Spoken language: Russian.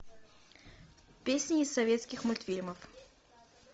песни из советских мультфильмов